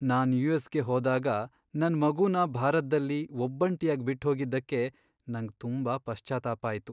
ನಾನ್ ಯು.ಎಸ್.ಗೆ ಹೋದಾಗ ನನ್ ಮಗುನ ಭಾರತ್ದಲ್ಲಿ ಒಬ್ಬಂಟಿಯಾಗ್ ಬಿಟ್ಹೋಗಿದ್ದಕ್ಕೆ ನಂಗ್ ತುಂಬಾ ಪಶ್ಚಾತ್ತಾಪ ಆಯ್ತು.